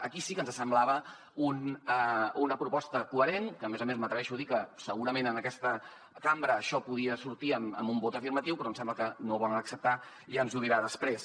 aquí sí que ens semblava una proposta coherent que a més a més m’atreveixo a dir que segurament en aquesta cambra això podia sortir amb un vot afirmatiu però em sembla que no ho volen acceptar ja ens ho dirà després